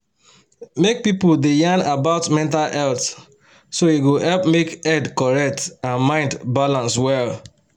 make people da yan about mental health so e go help make head correct and mind balance well.